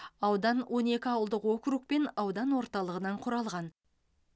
аудан он екі ауылдық округ пен аудан орталығынан құралған